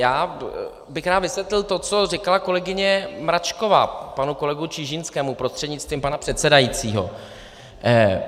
Já bych rád vysvětlil to, co říkala kolegyně Mračková, panu kolegu Čižinskému prostřednictvím pana předsedajícího.